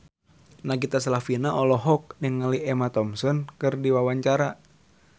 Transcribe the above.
Nagita Slavina olohok ningali Emma Thompson keur diwawancara